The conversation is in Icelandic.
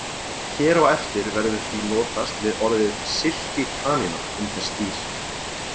Hér á eftir verður því notast við orðið silkikanína um þessi dýr.